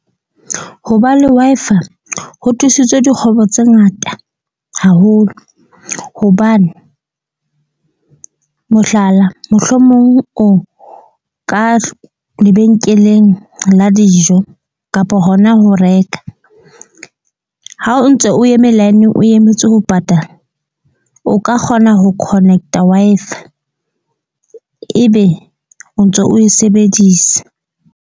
Ho ba le Wi-Fi ho thusitse dikgwebo tse ngata haholo. Hobane mohlala, mohlomong o ka lebenkeleng la dijo kapo hona ho reka. Ha o ntse o eme line-ng o emetse ho patala. O ka kgona ho connect-a Wi-Fi, ebe o ntso o e sebedisa.